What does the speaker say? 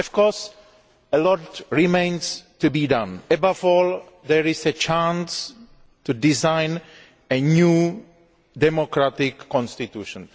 Of course a lot remains to be done. Above all, there is a chance to design a new democratic constitution.